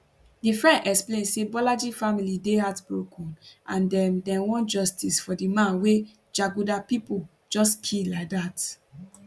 di friend explain say bolaji family dey heartbroken and dem dem want justice for di man wey jaguda pipo just kill like dat